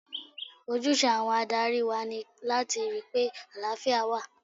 Ojúse àwọn adarí wa ni láti rí pé àlàáfíà wà.